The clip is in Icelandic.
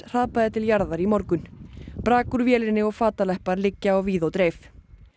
hrapaði til jarðar í morgun brak úr vélinni og liggja á víð og dreif